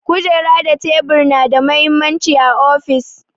Kujeru da tebur na da mahimmanci a ofis.